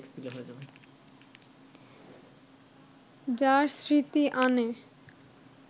যার স্মৃতি আনে